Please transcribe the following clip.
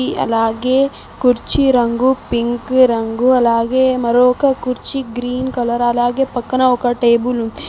అలాగే కుర్చీ రంగు పింక్ రంగు అలాగే మరోక కుర్చీ గ్రీన్ కలర్ అలాగే పక్కన ఒక టేబుల్ ఉం--